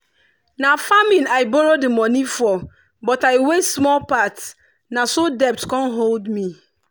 na farming i borrow the money for but i waste small part na so debt come hold me.